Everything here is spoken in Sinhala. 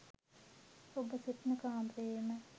ඔබ සිටින කාමරයේම